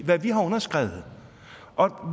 hvad vi har underskrevet